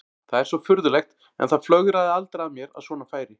Það er svo furðulegt en það flögraði aldrei að mér að svona færi.